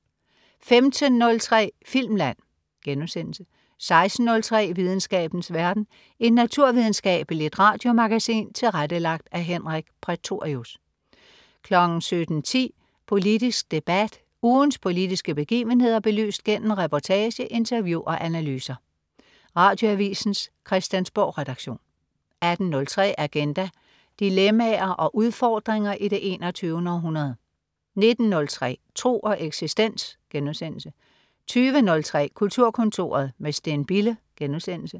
15.03 Filmland* 16.03 Videnskabens verden. Et naturvidenskabeligt radiomagasin tilrettelagt af Henrik Prætorius 17.10 Politisk debat. Ugens politiske begivenheder belyst gennem reportage, interview og analyser. Radioavisens Christiansborgredaktion 18.03 Agenda. Dilemmaer og udfordringer i det 21. århundrede 19.03 Tro og eksistens* 20.03 Kulturkontoret med Steen Bille*